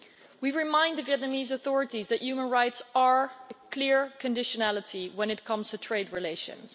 We remind the Vietnamese authorities that human rights are a clear conditionality when it comes to trade relations.